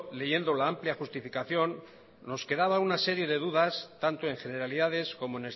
leyendo la amplia justificación nos quedaba una serie de dudas tanto en generalidades como